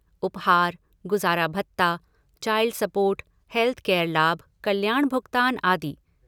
उपहार, गुजारा भत्ता, चाइल्ड सपोर्ट, हेल्थकेयर लाभ, कल्याण भुगतान, आदि।